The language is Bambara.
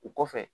O kɔfɛ